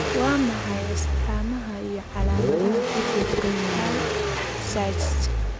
Waa maxay astamaha iyo calaamadaha cudurka Tay Sachs?